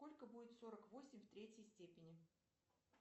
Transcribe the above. сколько будет сорок восемь в третьей степени